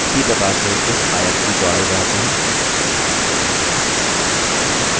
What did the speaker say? इसी प्रकार से इस आयत की चौड़ाई बढ़ाते हैं